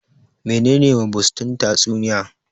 menene mabusdin tatsuniya?